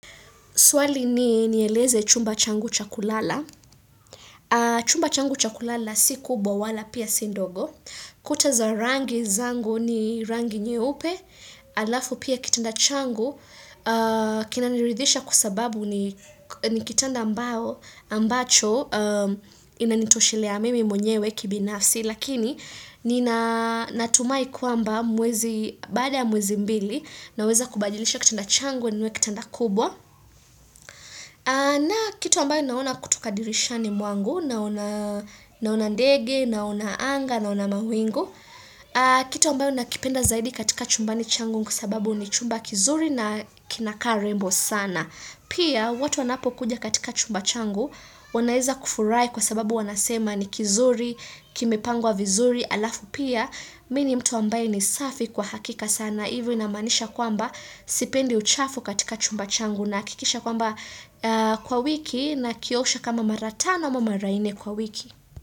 Swali ni nieleze chumba changu cha kulala. Chumba changu cha kulala si kubwa wala pia si ndogo. Kuta za rangi zangu ni rangi nyeupe, halafu pia kitanda changu. Kinaniridhisha kwa sababu ni kitanda ambacho inanitoshelea mimi mwenyewe kibinafsi. Lakini nina natumai kwamba mwezi, baada mwezi mbili, naweza kubajilisha kitanda changu ninunue kitanda kubwa. Na kitu ambayo naona kutoka dirishani mwangu, naona ndege, naona anga, naona mawingu. Kitu ambayo nakipenda zaidi katika chumbani changu ni kwa sababu ni chumba kizuri na kinakaa rembo sana. Pia watu wanapokuja katika chumba changu, wanaweza kufurahi kwa sababu wanasema ni kizuri, kimepangwa vizuri halafu pia. Mi ni mtu ambaye ni safi kwa hakika sana. Hivyo inamaanisha kwamba sipendi uchafu katika chumba changu nahakikisha kwamba kwa wiki nakiosha kama mara tano ama mara nne kwa wiki.